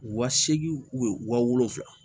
Wa seegin wa wolonfila